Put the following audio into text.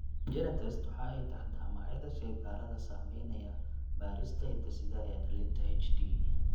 GeneTests waxa ay taxdaa magacyada shaybaadhada samaynaya baadhista hidde-sidaha ee dhallinta HD.